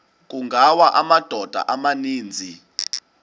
kungawa amadoda amaninzi